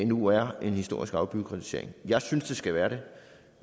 nu er en historisk afbureaukratisering jeg synes det skal være det